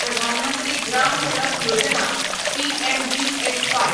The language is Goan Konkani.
प्रधान मंत्री ग्राम सडक योजना पीएमजीएसवाय